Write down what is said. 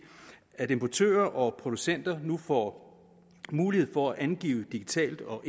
at importører og producenter nu får mulighed for at angive digitalt og